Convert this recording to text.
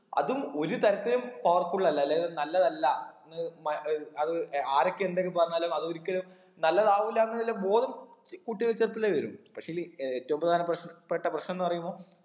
അതും ഒരു തരത്തിലും powerful അല്ല അല്ലെങ്കിൽ നല്ലതല്ല എന്ന് മ ഏർ അത് ആരൊക്കെ എന്തൊക്കെ പറഞ്ഞാലും അത് ഒരിക്കലും നല്ലതാവൂല എന്നുള്ള ബോധം ത് കുട്ടികൾക്ക് ചെറുപ്പത്തിലേ വരും പക്ഷേല് ഏറ്റവും പ്രധാന പ്രശ്നം പെട്ട പ്രശ്നംന്ന് പറയുമ്പോ